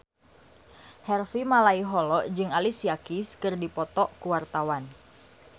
Harvey Malaiholo jeung Alicia Keys keur dipoto ku wartawan